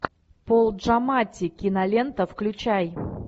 пол джаматти кинолента включай